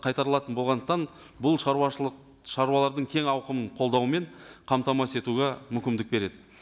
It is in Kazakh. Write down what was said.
қайтарылатын болғандықтан бұл шаруашылық шаруалардың кең ауқымының қолдауымен қамтамасыз етуге мүмкіндік береді